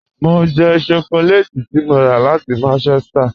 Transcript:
Mọ n jẹ́ shọkọlẹ́tì tí mọ́ rà láti Manchester